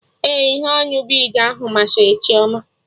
Ee, ihe onu bid ahụ masari Chioma